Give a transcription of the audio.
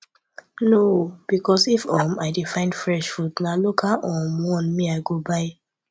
no o because if um i dey find fresh food na local um one me go buy